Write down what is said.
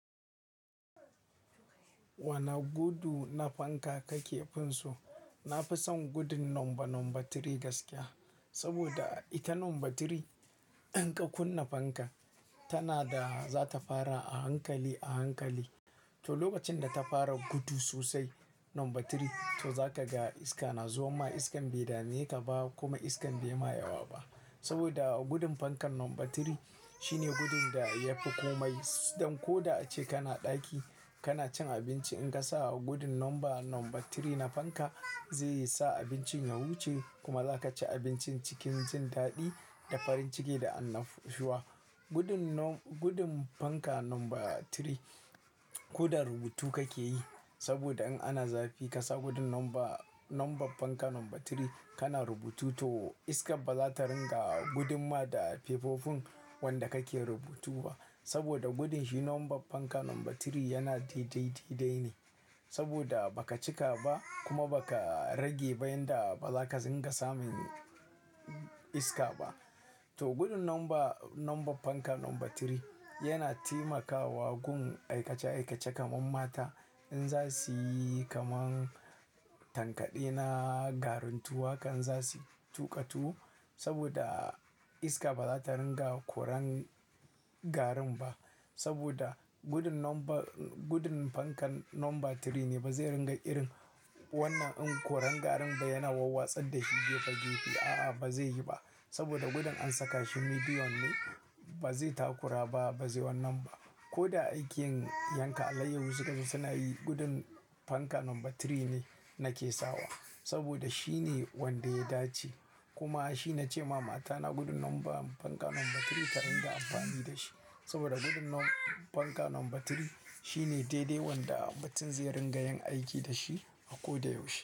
Wane gudu na fanka ka kefin so? Na fi son gudun number three gaskiya. Saboda ita number three in ka kunna fanka, tana da zata fara a hankali a hankali. To lokacin da ta fara gudu sosai number three, to zaka ga iska na zuwa ma iskan bai dame ka ba kuma iskan bai ma yawa ba. Saboda gudun fankan number three shine gudun da ya fi komai. Dan ko da ace kana ɗaki kana cin abinci in ka sa gudun number number three na fanka zai sa abincin ya wuce kuma za ka ci abincin cikin jin daɗi da farin ciki da annashuwa. Gudun nom-- gudun fanka number three ko da rubutu kake yi saboda in ana zafi ka sa gudun number nom-- fanka number three kana rubutu to iska ba za ta ringa gudumma da fefofin wanda kake rubutu ba. Saboda gudun shi number fanka number three yana daidai daidai ne. Saboda ba ka cika ba kuma ba ka rage ba yanda ba za ka dinga samun iska ba. To gudun number number fanka number tri yana taimakawa gun aikace aikace kamar mata in za suyi kamar tankaɗe na garuntuwa kan za su tuƙa tu saboda iska ba za ta ringa koren garin ba. Saboda gudun number gudun fankan number tri ne ba zai ringa irin wannan in koren garin ba yana wawa tsadda shi gefe gefe. A'a ba zai yi ba saboda gudun an saka shi medium ne ba zai takura ba ba zai wannan ba. Ko da aikin yanka alayyahu su gaba suna yi gudun fanka number tri ne nake sawa saboda shi ne wanda ya dace. Kuma shi nace mama ta na gudun fanka number tri ta ringa amfani da shi. Saboda gudun nom fanka number tri shi ne daidai wanda mutm zai ringa yin aiki da shi a ko da yaushe.